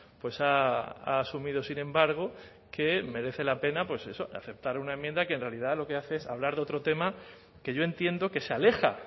pues ha asumido sin embargo que merece la pena pues eso aceptar una enmienda que en realidad lo que hace es hablar de otro tema que yo entiendo que se aleja